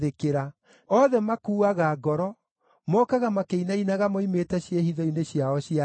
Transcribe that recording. Othe makuuaga ngoro; mokaga makĩinainaga moimĩte ciĩhitho-inĩ ciao cia hinya.